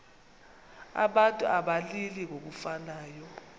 abantu abalili ngokufanayo